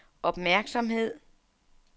opmærksomhed